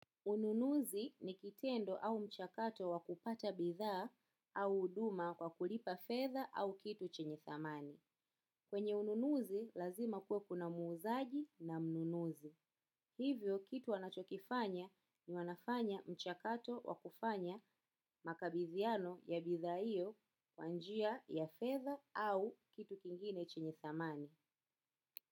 Ununuzi ni kitendo au mchakato wa kupata bidhaa au huduma kwa kulipa fedha au kitu chenye thamani. Kwenye ununuzi lazima kuwe kuna muuzaji na mnunuzi. Hivyo kitu wanachokifanya ni wanafanya mchakato wa kufanya makabidhiano ya bidhaa hiyo kwa njia ya fedha au kitu kingine chenye thamani.